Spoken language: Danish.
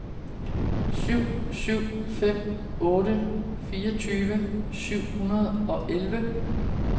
syv syv fem otte fireogtyve syv hundrede og elleve